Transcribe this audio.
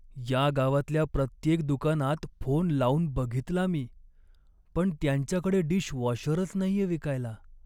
या गावातल्या प्रत्येक दुकानात फोन लावून बघितला मी, पण त्यांच्याकडे डिशवॉशरच नाहीये विकायला.